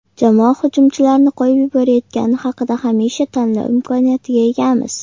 Jamoa hujumchilarni qo‘yib yuborayotgani haqida Hamisha tanlov imkoniyatiga egamiz.